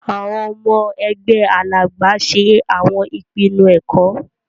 Awọn ọmọ ẹgbẹ Alàgbà ṣe awọn ìpinnu ẹkọ.